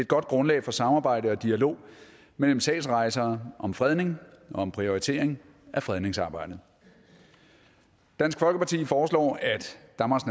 godt grundlag for samarbejde og dialog mellem sagsrejsere om fredning og om prioritering af fredningsarbejdet dansk folkeparti foreslår